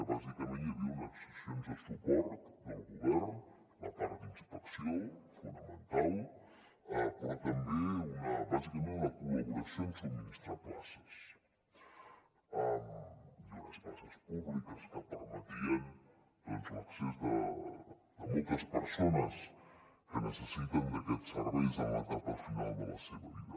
bàsicament hi havia unes accions de suport del govern la part d’inspecció fonamental però també bàsicament una col·laboració en subministrar places i unes places públiques que permetien doncs l’accés de moltes persones que necessiten aquests serveis en l’etapa final de la seva vida